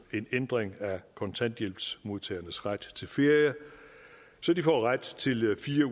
en ændring af kontanthjælpsmodtagernes ret til ferie så de får ret til fire